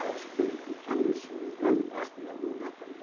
Acho que teve cultura, se não me engano, acho que na Globo também.